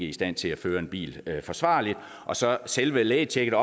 i stand til at føre en bil forsvarligt og så selve lægetjekket